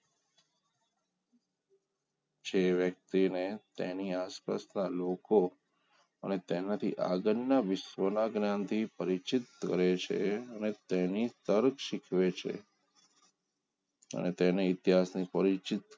જે વ્યક્તિને તેની આસપાસના લોકો અને તેનાથી આગળના વિશ્વના જ્ઞાનથી પરિચિત કરે છે અને તેની તર્ક શીખવે છે મેં તેને ઈતિહાસની થોડી